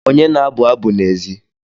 Onye na-abụ abụ n'èzí?